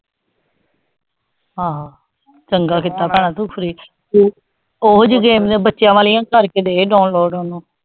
ਹਾਂ ਚੰਗਾ ਕੀਤਾ ਭੈਣਾਂ ਤੂੰ ਓ ਜੇ game ਬੱਚਿਆਂ ਵਾਲਿਆਂ ਕਰਕੇ ਦੇ download ਓਨੂੰ